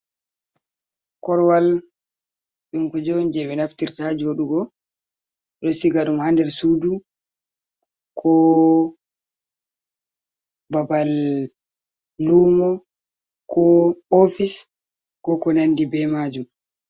Korwal ɗum Kunde'on jei ɓe Naftirta Joɗugo, ɗo Sigaɗum ha nder Suudu, ko Babal Lumo ko Ofis ko konandi be Majum.